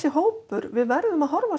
hópur við verðum að horfa